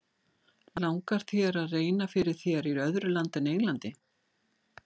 Langar þér að reyna fyrir þér í öðru landi en Englandi?